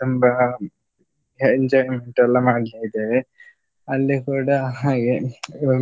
ತುಂಬಾ enjoyment ಎಲ್ಲ ಮಾಡಿದ್ದೇವೆ. ಅಲ್ಲಿ ಕೂಡ ಹಾಗೆ